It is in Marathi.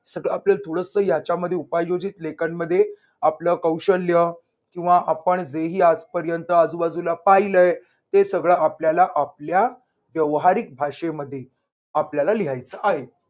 सगळं आपल्याला थोडंस यांच्यामध्ये उपाययोजित लेखनमध्ये आपलं कौशल्य किंवा आपण जे ही आजपर्यंत आजूबाजूला पाहिलय ते सगळ आपल्याला आपल्या व्यावहारिक भाषेमध्ये आपल्याला लिहायच आहे.